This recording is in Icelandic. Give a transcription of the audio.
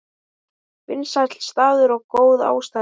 Vinsæll staður og góð aðstaða